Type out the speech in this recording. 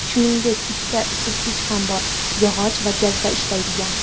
Shuningdek, ikkita isitgich ham bor: yog‘och va gazda ishlaydigan.